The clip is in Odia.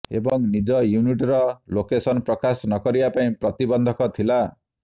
ଏବଂ ନିଜ ୟୁନିଟ୍ ର ଲୋକେସନ ପ୍ରକାଶ ନକରିବା ପାଇଁ ପ୍ରତିବନ୍ଧକ ଥିଲା